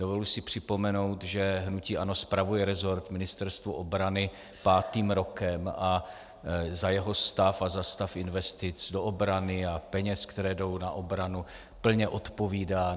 Dovoluji si připomenout, že hnutí ANO spravuje resort Ministerstva obrany pátým rokem a za jeho stav a za stav investic do obrany a peněz, které jdou na obranu, plně odpovídá.